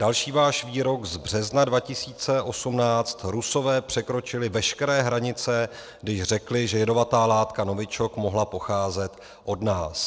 Další váš výrok z března 2018: Rusové překročili veškeré hranice, když řekli, že jedovatá látka novičok mohla pocházet od nás. -